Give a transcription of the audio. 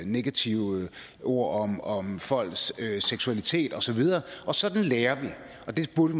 negative ord om om folks seksualitet og så videre sådan lærer vi og der burde